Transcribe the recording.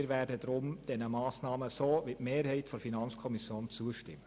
Wir werden diesen Massnahmen deshalb wie die Mehrheit der FiKo zustimmen.